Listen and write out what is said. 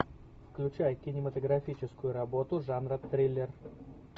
включай кинематографическую работу жанра триллер